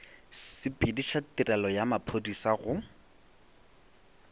sepediša tirelo ya maphodisa go